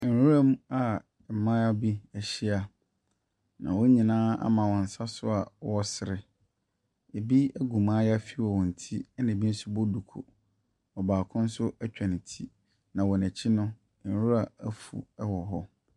Nwura mu a mmaayea bi ahyia. Na wɔn nyinaa ama wɔn nsa so a wɔresere. Ebi gu mayaafi wɔ wɔn ti. Na ebi nso bɔ duku. Ɔbaako nso atwa ne ti. Na wɔn akyi no, nwura afu wɔ hɔ.